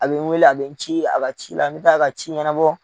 A bi n weele a be n ci a ka ci la, n mɛ taa a ka ci ɲɛnabɔ